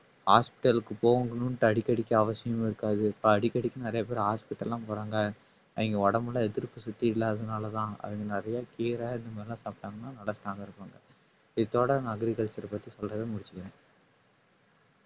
hospital க்கு போகணும்ட்டு அடிக்கடிக்கு அவசியமும் இருக்காது இப்ப அடிக்கடிக்கு நிறைய பேர் hospital எல்லாம் போறாங்க அவிங்க உடம்புல எதிர்ப்பு சக்தி இல்லாததுனாலதான் அதுக்கு நிறைய கீரை இது மாதிரி எல்லாம் சாப்பிட்டாங்கன்னா நல்லா strong ஆ இருப்பாங்க இத்தோட நான் agriculture பத்தி சொல்றதை முடிச்சுக்கிறேன்.